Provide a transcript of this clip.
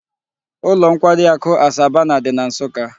Ulo nkwari aku Asabana di na nsukka